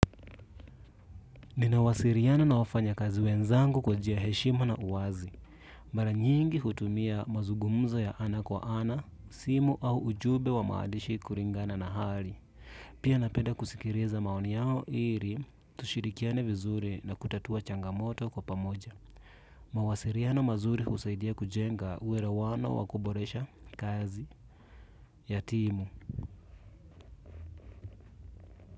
Ninawasiliana na wafanyakazi wenzangu kwa njia ya heshima na wazi. Mara nyingi hutumia mazungumzo ya ana kwa ana simu au ujumbe wa maandishi kulingana na hali. Pia napenda kusikiliza maoni yao ili, tushirikiane vizuri na kutatua changamoto kwa pamoja. Mawasiliano mazuri husaidia kujenga uelewano wa kuboresha kazi ya timu.